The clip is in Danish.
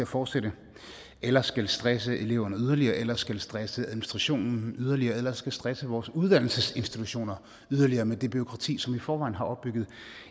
fortsætte eller skal stresse eleverne yderligere eller skal stresse administrationen yderligere eller skal stresse vores uddannelsesinstitutioner yderligere med det bureaukrati som vi i forvejen har opbygget